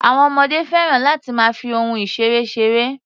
Àwọn ọmọdé fẹ́ràn láti máa fi ohun ìṣeré ṣeré.